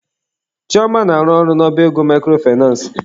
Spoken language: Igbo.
Chioma na-arụ ọrụ n'ọba ego microfinace.